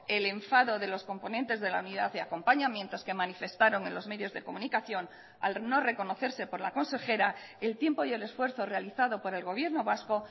el enfado de los componentes de la unidad de acompañamientos que manifestaron en los medios de comunicación al no reconocerse por la consejera el tiempo y el esfuerzo realizado por el gobierno vasco